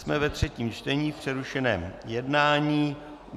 Jsme ve třetím čtení v přerušeném jednání.